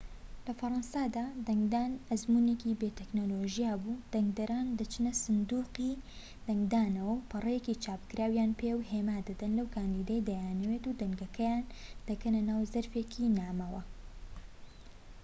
لە فەڕەنسادا دەنگدان ئەزموونێکی بێ تەکنۆلۆژیا بووە دەنگدەران دەچنە سندوقی دەنگدانەوە و پەڕەیەکی چاپکراویان پێە و هێما دەدەن لەو کاندیدەی دەیانەوێت و دەنگەکەیان دەکەنە ناو زەرفێکی نامەوە